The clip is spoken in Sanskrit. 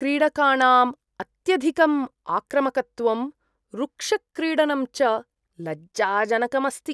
क्रीडकाणाम् अत्यधिकम् आक्रामकत्वं रुक्षक्रीडनं च लज्जाजनकम् अस्ति।